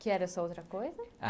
Que era sua outra coisa?